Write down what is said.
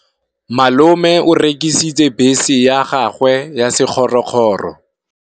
Malome o rekisitse bese ya gagwe ya sekgorokgoro.